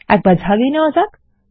একবার ঝালিয়ে নেওয়া যাক